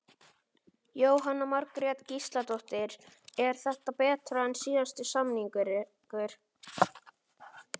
Jóhanna Margrét Gísladóttir: Er þetta betra en síðasti samningur?